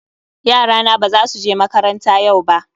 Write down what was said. Yarana ba za su je makaranta yau ba